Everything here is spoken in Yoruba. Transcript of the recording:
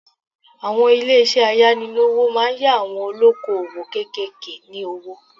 Àwọn ilé isẹ́ ayánilówó máa yá àwọn olóko òwò kékèké ní owó